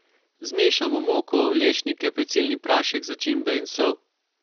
Zmešamo moko, lešnike, pecilni prašek, začimbe in sol.